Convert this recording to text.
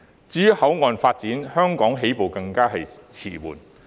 至於口岸發展，香港起步更為遲緩。